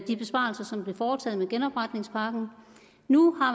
de besparelser der blev foretaget med genopretningspakken nu